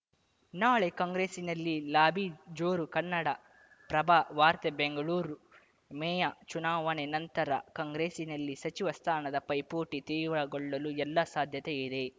ನಾಳೆ ಕಾಂಗ್ರೆಸ್ಸಿನಲ್ಲಿ ಲಾಬಿ ಜೋರು ಕನ್ನಡಪ್ರಭ ವಾರ್ತೆ ಬೆಂಗಳೂರು ಬೆಂಗಳೂರು ಮೇಯ ಚುನಾವಣೆ ನಂತರ ಕಾಂಗ್ರೆಸ್‌ನಲ್ಲಿ ಸಚಿವ ಸ್ಥಾನದ ಪೈಪೋಟಿ ತೀವ್ರಗೊಳ್ಳಲು ಎಲ್ಲಾ ಸಾಧ್ಯತೆಯಿದೆ